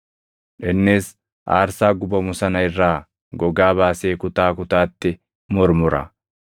Innis aarsaa gubamu sana irraa gogaa baasee kutaa kutaatti murmura.